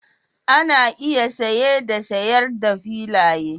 Ana iya saye da sayar da filaye